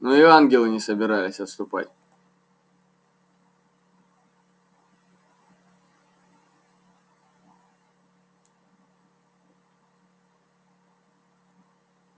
но и ангелы не собирались отступать